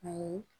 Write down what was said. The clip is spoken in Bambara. Ayi